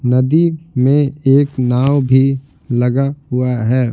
नदी में एक नाव भी लगा हुआ है।